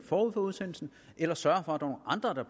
forud for udsendelsen eller sørge for